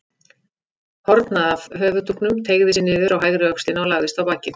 Horn af höfuðdúknum teygði sig niður á hægri öxlina og lagðist á bakið.